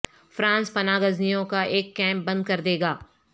France پناہ گزینوں کا ایک کیمپ بند کر دے گا